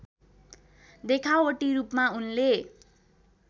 देखावटी रूपमा उनले